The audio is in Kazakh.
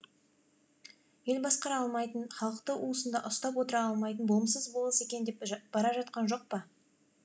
ел басқара алмайтын халықты уысында ұстап отыра алмайтын болымсыз болыс екен деп бара жатқан жоқ па